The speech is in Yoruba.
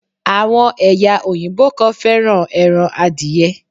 Àwon èyà òyìnbó kan féràn eran adiye